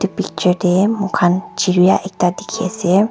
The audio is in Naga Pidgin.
Picture dae mokhan chirya ekta dekhi ase.